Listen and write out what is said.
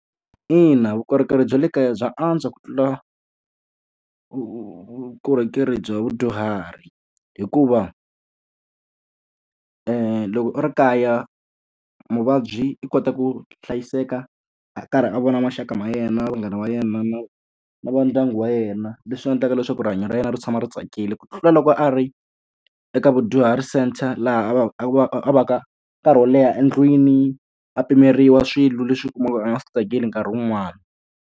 Ina vukorhokeri bya le kaya bya antswa ku tlula vukorhokeri bya vudyuhari. Hikuva loko u ri kaya muvabyi u kota ku hlayiseka a karhi a vona maxaka ma yena, vanghana va yena, na na va ndyangu wa yena, leswi endlaka leswaku rihanyo ra yena ri tshama ri tsakile. Ku tlula loko a ri eka vudyuhari centre laha a va a va a va ka nkarhi wo leha endlwini, a pimeriwa swilo leswi u kumaka a nga swi tsakeli nkarhi wun'wani.